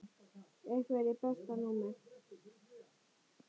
Einherji Besta númer?